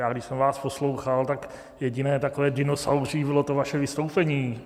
Já když jsem vás poslouchal, tak jediné takové dinosauří bylo to vaše vystoupení.